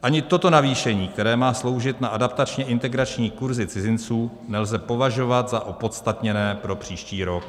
Ani toto navýšení, které má sloužit na adaptačně-integrační kurzy cizinců, nelze považovat za opodstatněné pro příští rok.